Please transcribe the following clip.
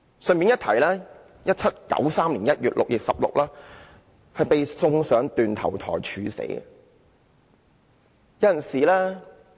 順帶一提 ，1793 年1月，路易十六被送上斷頭台處死。